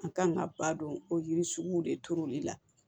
An kan ka ba don o yiri sugu de turuli la